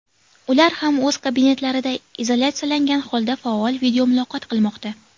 Ular ham o‘z kabinetlarida izolyatsiyalangan holda faol videomuloqot qilmoqda.